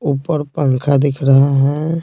ऊपर पंखा दिख रहे है।